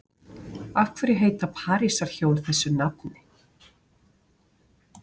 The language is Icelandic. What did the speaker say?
Af hverju heita parísarhjól þessu nafni?